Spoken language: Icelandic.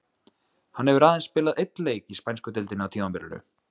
Hann hefur aðeins spilað einn leik í spænsku deildinni á tímabilinu.